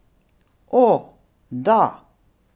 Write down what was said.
O, da!